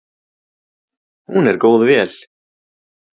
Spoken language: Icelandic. Hún er góð vél.